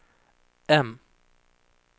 M